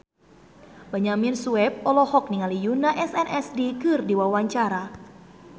Benyamin Sueb olohok ningali Yoona SNSD keur diwawancara